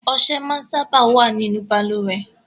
Ọsẹ máa ń sábà wá nínú Balùwẹ́